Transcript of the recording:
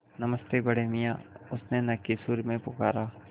नमस्ते बड़े मियाँ उसने नक्की सुर में पुकारा